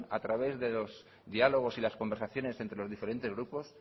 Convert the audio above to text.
a través de los diálogos y las conversaciones entre los diferentes grupos